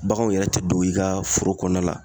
Baganw yɛrɛ te don i ka foro kɔnɔna la